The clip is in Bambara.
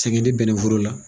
Sɛgɛn dɛ bɛnnɛforo la.